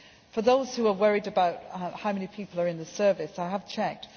them. For those who are worried about how many people are in the Service, I have checked.